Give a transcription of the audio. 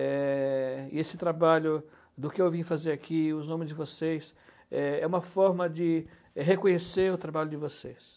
É, e esse trabalho do que eu vim fazer aqui, e os nomes de vocês, é, é uma forma de reconhecer o trabalho de vocês.